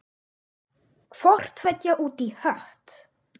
Hvort tveggja út í hött.